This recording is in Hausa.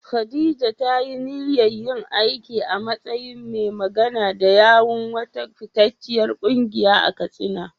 Khadija ta yi niyyar yin aiki a matsayin mai magana da yawun wata fitacciyar kungiya a Katsina.